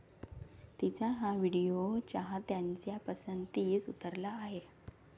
तिचा हा व्हिडिओ चाहत्यांच्या पसंतीस उतरला आहे.